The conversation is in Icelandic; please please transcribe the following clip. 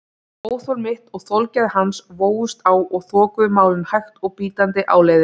Óþol mitt og þolgæði hans vógust á og þokuðu málinu hægt og bítandi áleiðis.